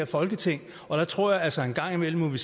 folketinget og der tror jeg altså en gang imellem at vi